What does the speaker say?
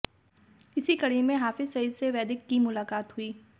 इसी कड़ी में हाफिज सईद से वैदिक की मुलाकात हुई